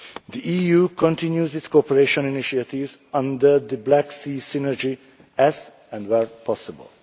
The EU continues its cooperation initiatives under the Black Sea Synergy as and where possible.